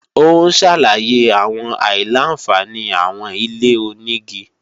Ó ń ṣàlàyé àwọn àìlà-àǹfààní àwọn ilé-onígi